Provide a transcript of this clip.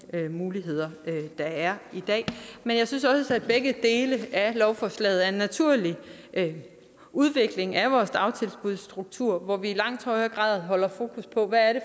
muligheder der er i dag men jeg synes også at begge dele af lovforslaget er en naturlig udvikling af vores dagtilbudsstruktur hvor vi i langt højere grad holder fokus på hvad det